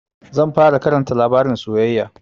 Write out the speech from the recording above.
Zan fara Karanta labarin soyayya.